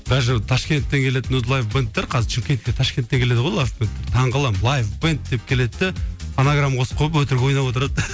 даже ташкенттен келетін өзі лайв бэндтер қазір шымкентке ташкенттен келеді ғой лайв бэнд таң қаламын лайв бэнд деп келеді де фонограмма қосып қойып өтірік ойнап отырады